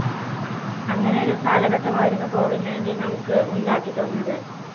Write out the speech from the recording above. അങ്ങനെയൊരു കാലഘട്ടമായിരുന്നു COVID nineteen നമുക്ക് ഉണ്ടാക്കി തന്നത്.